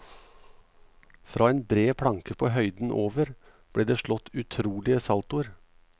Fra en bred planke på høyden over ble det slått utrolige saltoer.